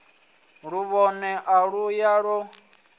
luvhone a u ya u